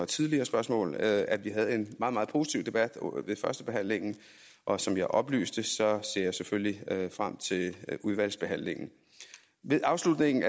tidligere spørgsmål at vi havde en meget meget positiv debat ved førstebehandlingen og som jeg oplyste ser jeg selvfølgelig frem til udvalgsbehandlingen ved afslutningen